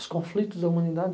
Os conflitos da humanidade.